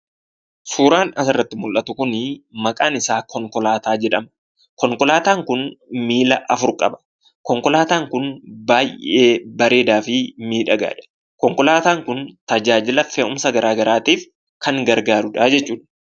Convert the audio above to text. Suuraan asirratti mul'atu kun maqaan isaa konkolaataa jedhama. Konkolaataan kun miila afur qaba. Konkolaataan kun baay'ee bareedaa fi miidhagaadha. Konkolaataan kun tajaajila fe'umsa garaa garaatiif kan gargaaru jechuudha.